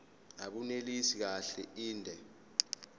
abunelisi kahle inde